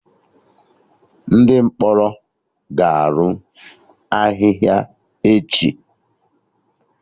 Ndị mkpọrọ ga-anọ ahịhịa echi